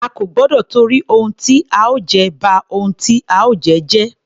A kò gbọdọ tìtorí ohun tí a ó jẹ, ba ohun tí a ó jẹ́ jẹ́.